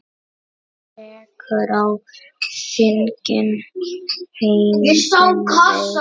Sekum á þingi hegning veitt.